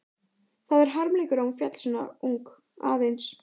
Það er harmleikur að hún féll svo ung, aðeins